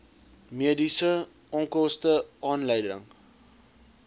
mediese onkoste aanleiding